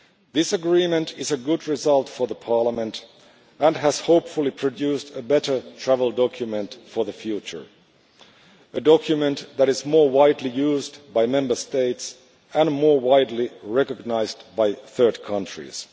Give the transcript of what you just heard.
This agreement is a good result for Parliament and has, hopefully, produced a better travel document for the future a document that is more widely used by Member States and more widely recognised by third countries.